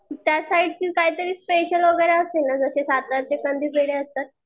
त्यसाईडचे काहीतरी स्पेशल वगैरे असेल ना जसे साताऱ्याचे कंदी पेढे असतात.